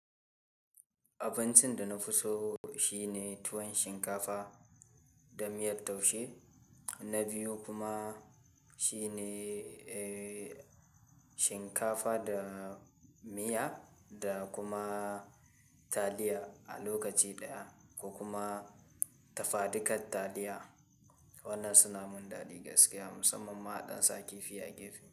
Abincin da na fi so shine tuwon shinkafa da miyar taushe, na biyu kuma shine, eh, shinkafa da miya da kuma taliya a lokaci ɗaya ko kuma tafaɗukan taliya. Waɗannan suna mun daɗi gaskiya musamman ma haɗin sa kifi a gefe.